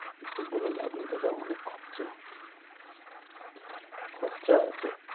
এসব বলে লাভ নেই দাদা অনেক খরচা। খরচা আছে।